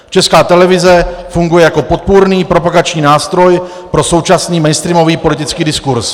Česká televize funguje jako podpůrný propagační nástroj pro současný mainstreamový politický diskurz.